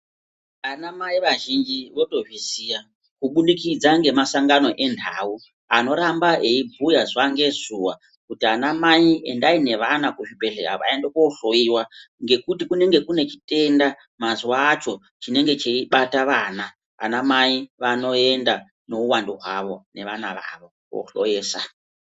Anamai vazhinji votozviziya kubudikidza ngemasangano enhau anoramba eibhuya zuwa ngezuwa kuti anamai endai nevana kuzvibhedhleya vaende kohloiwa. Ngekuti kunenge kune chitenda mazuwa acho chinenge cheibata vana anamai neuwandu hwavo vanoenda nevana vavo kohloyesa.